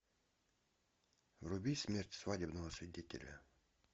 вруби смерть свадебного свидетеля